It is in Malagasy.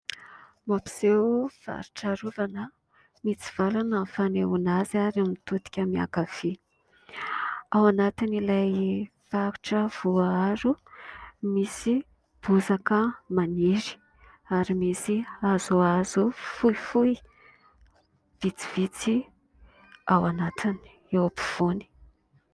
Hoampiseho faritra arovana mitsivalana ny fanehoana azy ary mitodika miankavia. Ao anatin'ilay faritra voaaro misy bozaka maniry ary misy hazohazo fohifohy vitsivitsy ao anatiny eo am-pifoany.